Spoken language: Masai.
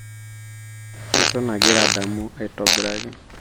eton agira adamu atobiraki